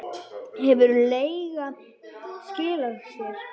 Hefur leiga skilað sér?